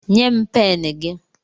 Nye m pen gị